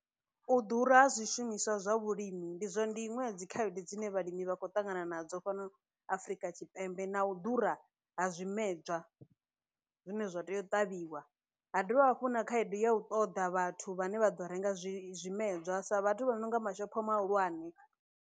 U ḓura ha zwishumiswa zwa vhulimi ndi zwa ndi iṅwe ya dzikhaedu dzine vhalimi vha khou ṱangana nadzo fhano afrika tshipembe na u ḓura ha zwimedzwa zwine zwa tea u ṱavhiwa ha dovha hafhu na khaedu ya u ṱoḓa vhathu vhane vha ḓo renga zwimedzwa sa vhathu vha no nga mashopho mahulwane.